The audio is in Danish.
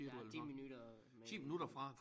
Ja 10 minutter med